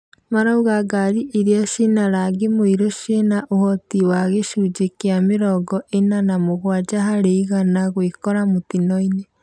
Marauga ngari irĩa cina rangi mũirũciĩna ũhoti wa gĩcunjĩ kĩa mĩrongo ĩna na mũgwanja harĩ igana gwĩkora mũtino-inĩ.